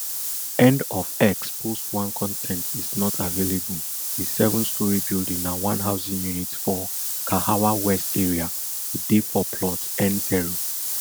end of x post one con ten t is not available di sevenstory building na one housing unit for kahawa west area edey for plot nzero